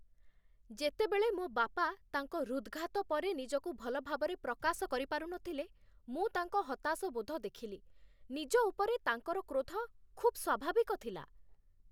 ଯେତେବେଳେ ମୋ ବାପା ତାଙ୍କ ହୃଦ୍‌ଘାତ ପରେ ନିଜକୁ ଭଲ ଭାବରେ ପ୍ରକାଶ କରିପାରୁନଥିଲେ, ମୁଁ ତାଙ୍କ ହତାଶବୋଧ ଦେଖିଲି । ନିଜ ଉପରେ ତାଙ୍କର କ୍ରୋଧ ଖୁବ୍ ସ୍ଵାଭାବିକ ଥିଲା।